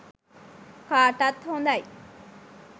කාටත් හොඳයි